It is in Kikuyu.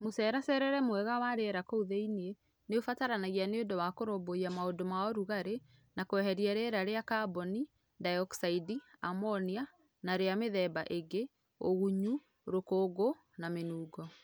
Mũceracerere mwega wa rĩera kuũ thĩinĩ nĩũbataranagia nĩũndũ wa Kũrũmbũiya maundũ ma ũrugarĩ na kweheria rĩera rĩa kamboni ndaĩyokicaindi, amonia na rĩa mĩthemba ĩngĩ, ũgunyu, rũkũngũ na mĩnungo.